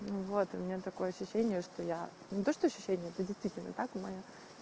ну вот у меня такое ощущение что я не то что ощущение это действительно так моя